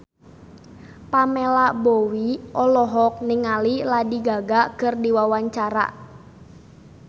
Pamela Bowie olohok ningali Lady Gaga keur diwawancara